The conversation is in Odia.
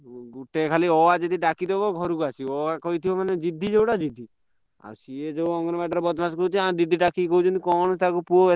ହଁ ଗୁଟେଯଦି ଅ ଆ ଡାକିଦାବ ଘରକୁ ଚାଲି ଆସିବ ଅ ଆ କହିଥିବ ମାନେ ଜିଦି ଯୋଉଟ ଜିଦି ଆଉ ସିଏ ଯୋଉ ଅଙ୍ଗନ ବାଡି ରେ ବଦ୍ମାସିକରୁଛି ତାଙ୍କ ଦିଦି ଡାକିକି କହୁଛନ୍ତି କଣ ତାକୁ ପୁଅ।